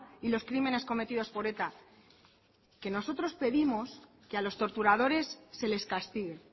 y los crímenes cometidos por eta que nosotros pedimos que a los torturadores se les castigue